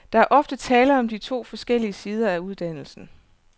Der er ofte tale om to forskellige sider af uddannelsen.